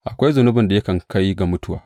Akwai zunubin da yakan kai ga mutuwa.